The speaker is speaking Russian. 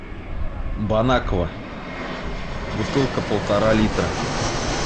бонаква бутылка полтора литра